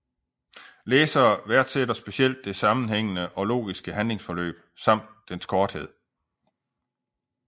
Læsere værdsætter specielt det sammenhængende og logiske handlingsforløb samt dens korthed